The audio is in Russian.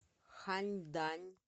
ханьдань